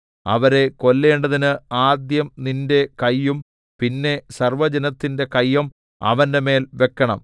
അവരെ കൊല്ലേണ്ടതിന് ആദ്യം നിന്റെ കയ്യും പിന്നെ സർവ്വജനത്തിന്റെ കയ്യും അവന്റെമേൽ വെക്കണം